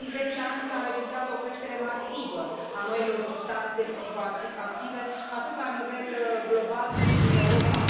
În ultimii zece ani, s a înregistrat o creștere masivă a noilor substanțe psihoactive atât la nivel lor global, cât și în Europa.